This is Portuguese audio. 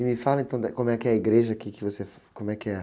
E me fala, então, da, como é que é a igreja aqui que você... Como é que é?